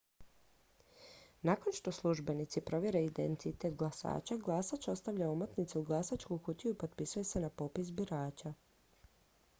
nakon što službenici provjere identitet glasača glasač stavlja omotnicu u glasačku kutiju i potpisuje se na popis birača